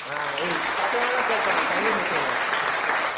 ஆஹ் ஏய், சத்தமாதான் பேசேன் சனியன் பிடிச்சவனே